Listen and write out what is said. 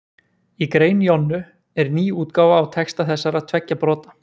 í grein jonnu er ný útgáfa á texta þessara tveggja brota